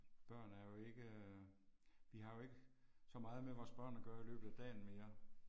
Børn er jo ikke, vi har jo ikke så meget med vores børn at gøre i løbet af dagen mere